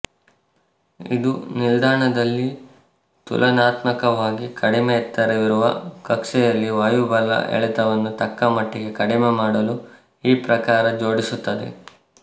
ಇದು ನಿಲ್ದಾಣದಲ್ಲಿ ತುಲನಾತ್ಮಕವಾಗಿ ಕಡಿಮೆ ಎತ್ತರವಿರುವ ಕಕ್ಷೆಯಲ್ಲಿ ವಾಯುಬಲ ಎಳೆತವನ್ನು ತಕ್ಕ ಮಟ್ಟಿಗೆ ಕಡಿಮೆ ಮಾಡಲು ಈ ಪ್ರಕಾರ ಜೋಡಿಸುತ್ತದೆ